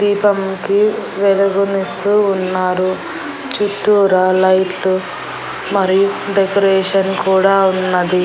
దీపం కి వెలుగునిస్తూ ఉన్నారు చుట్టూరా లైట్లు మరియు డెకరేషన్ కూడా ఉన్నది.